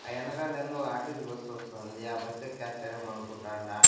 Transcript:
ఆ ఎనకాలేందో RTC bus వస్తాంది ఆ బస్ ఎక్కేస్తారేమో అనుకుంటాండా.